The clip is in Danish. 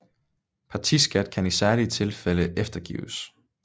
Partiskat kan i særlige tilfælde eftergives